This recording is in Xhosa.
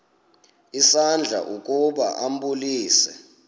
isandla ukuba ambulise